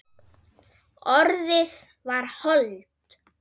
Orðið varð hold.